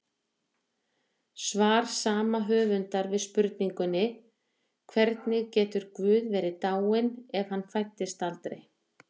Svar sama höfundar við spurningunni Hvernig getur Guð verið dáinn ef hann fæddist aldrei?